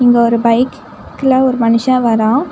இங்க ஒரு பைக் க்ல ஒரு மனுஷ வரா.